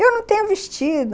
Eu não tenho vestido.